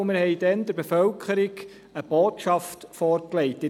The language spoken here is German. Wir haben damals der Bevölkerung eine Botschaft vorgelegt.